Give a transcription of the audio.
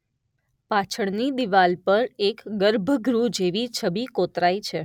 પાછળની દીવાલ પર એક ગર્ભગૃહ જેવી છબી કોતરાઈ છે